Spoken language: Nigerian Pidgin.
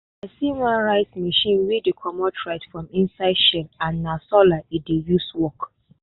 i see one rice machine wey dey comot rice from inside shell and na solar e dey use work.